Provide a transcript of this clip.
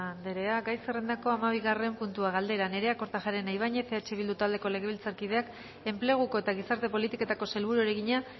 andrea gai zerrendako hamabigarren puntua galdera nerea kortajarena ibañez eh bildu taldeko legebiltzarkideak enpleguko eta gizarte politiketako sailburuari egina